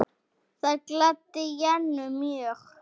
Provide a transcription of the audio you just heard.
Það gladdi Jennu mjög.